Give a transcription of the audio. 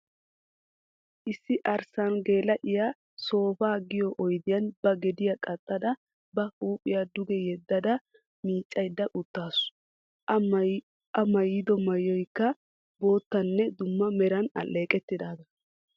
Issi arssa geela'iya soofaa giyo oyidiyan ba gediya qaxxada ba huuphiya duge yeddada miiccayidda uttaasu. A maayidi mayyoyikka boottanne dumma meran aalleeqettidaagaa.